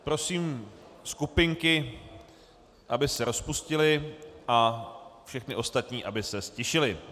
Prosím skupinky, aby se rozpustily, a všechny ostatní, aby se ztišili.